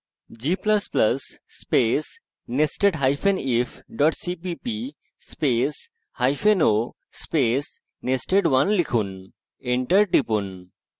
g ++ space nestedif cpp spaceo space nested1 লিখুন enter টিপুন